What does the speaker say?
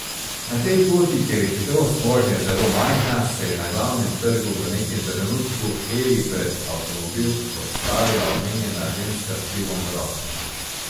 Na tej poti, kjer je hitrost vožnje zelo majhna, se je na Glavnem trgu v nekem trenutku Evi pred avtomobil postavila omenjena ženska s pivom v roki.